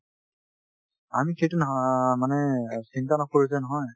আমি সেইটো না মানে চিন্তা নকৰো যে নহয়